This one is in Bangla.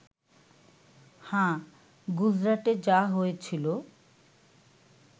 হ্যাঁ, গুজরাটে যা হয়েছিল